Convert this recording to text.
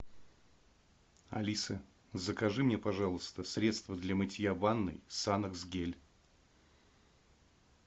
алиса закажи мне пожалуйста средство для мытья ванной санокс гель